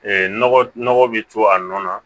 nɔgɔ nɔgɔ bɛ to a nɔ na